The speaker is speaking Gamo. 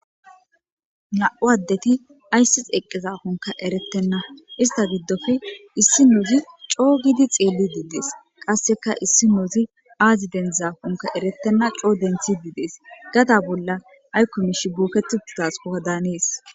Namu adet aysi eqida dakkonne eretena issita gidoppe issinozi co gidi xeelidi deesi qasekka issinozi azi deniththzakkonne eretena gada bola ayikko mishshiyi bokketi uttidasoda hanes